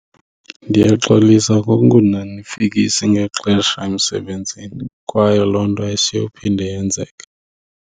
Ndiyaxolisa ngokungonanifikisi ngexesha emsebenzini kwaye loo nto asiyophinde yenzeke.